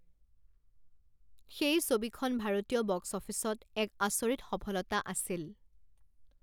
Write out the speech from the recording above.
সেই ছবিখন ভাৰতীয় বক্স অফিচত এক আচৰিত সফলতা আছিল।